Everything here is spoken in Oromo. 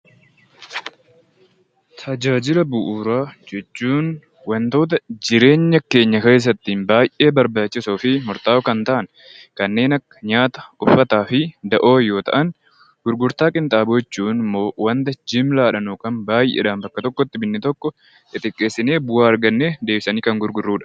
Tajaajila bu'uuraa jechuun wantoota jireenya keenya keessatti baay'ee barbaachisoo fi murta'oo ta'aan kanneen akka nyaata, uffataa fi da'oo yoo ta'an gurgurta qinxaaboo jechuun immoo wanta walii galaan bakka tokkotti bitne tokko xixiqqeessine bu'aa arganne deebifne kan gurgurrudha.